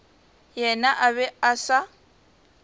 yena a be a sa